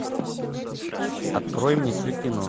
открой мне все кино